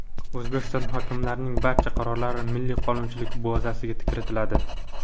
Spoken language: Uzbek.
O‘zbekistonda hokimlarning barcha qarorlari Milliy qonunchilik bazasiga kiritiladi.